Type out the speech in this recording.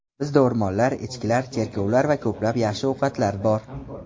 Bizda o‘rmonlar, echkilar, cherkovlar va ko‘plab yaxshi ovqatlar bor.